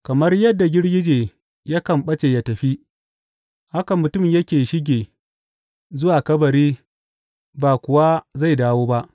Kamar yadda girgije yakan ɓace yă tafi, haka mutum yake shige zuwa kabari ba kuwa zai dawo ba.